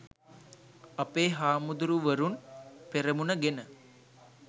අපේ හාමුදුරුවරුන් පෙරමුණ ගෙන